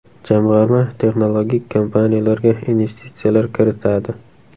Jamg‘arma texnologik kompaniyalarga investitsiyalar kiritadi.